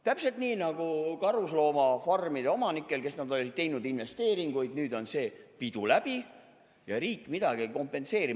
Täpselt nii nagu karusloomafarmide omanike puhul, kes olid teinud investeeringuid, nüüd on see pidu läbi, aga riik midagi ei kompenseeri.